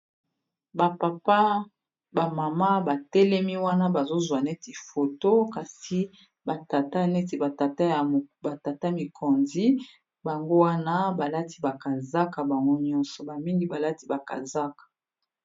Ba papa ba mama batelemi wana bazozwa neti foto kasi ba tata neti ba tata ba tata mikonzi bango wana balati ba kazaka bango nyonso ba mingi balati ba kazaka.